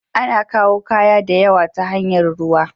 Ana kayu kaya diyawa ta hanyar ruwa.